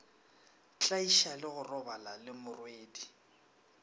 tlaiša le go robala lemorwedi